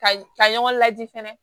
Ka ka ɲɔgɔn lajigin fɛnɛ